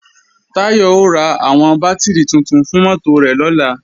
Táyọ̀ ó ra àwọn bátìrì tuntun fún mọ́tò rẹ̀ lọ́la